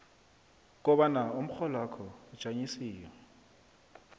kobana umrholwakho ujanyisiwe